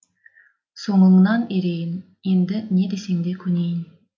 соңыңнан ерейін енді не десең де көнейін